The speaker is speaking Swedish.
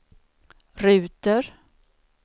ruter